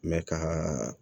Mɛ ka